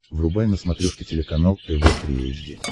врубай на смотрешке телеканал тв три эйч ди